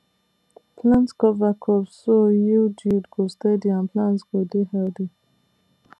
plant cover crops so yield yield go steady and plant go dey healthy